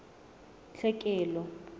tlhekelo